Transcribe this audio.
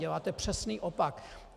Děláte přesný opak!